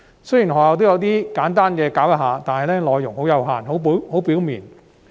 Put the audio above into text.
雖然學校也有作簡單教授，但內容很有限及流於表面。